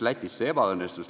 Lätis see ebaõnnestus.